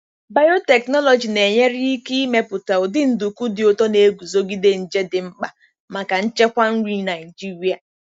Biotechnology na-enyere ike imepụta ụdị nduku dị ụtọ na-eguzogide nje dị mkpa maka nchekwa nri Naijiria.